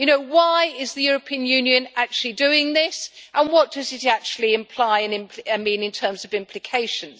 Why is the European Union actually doing this, and what does it actually imply and mean in terms of implications?